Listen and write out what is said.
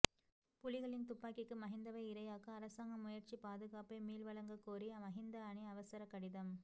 புலிகளின் துப்பாக்கிக்கு மஹிந்தவை இரையாக்க அரசாங்கம் முயற்சி பாதுகாப்பை மீள்வழங்க கோரி மஹிந்த அணி அவசர கடிதம்